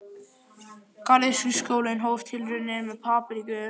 Garðyrkjuskólinn hóf tilraunir með papriku um